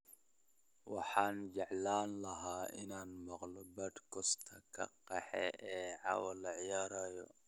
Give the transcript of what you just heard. Waxaan jeclaan lahaa inaan maqlo podcast-ka xaqeena ee caawa la ciyaarayo